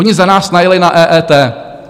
Oni za nás najeli na EET.